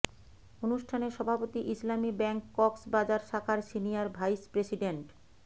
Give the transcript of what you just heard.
অনুষ্ঠানের সভাপতি ইসলামী ব্যাংক কক্সবাজার শাখার সিনিয়ার ভাইস প্রেসিডেন্ট